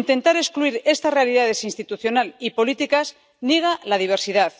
Intentar excluir estas realidades —institucionales y políticas— niega la diversidad,